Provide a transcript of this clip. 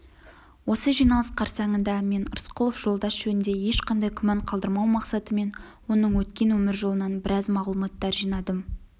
осы жиналыс қарсаңында мен рысқұлов жолдас жөнінде ешқандай күмән қалдырмау мақсатымен оның өткен өмір жолынан біраз мағлұматтар жинадым